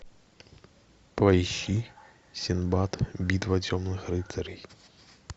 поищи синдбад битва темных рыцарей